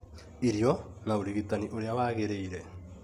irio, na ũrigitani ũrĩa waagĩrĩire;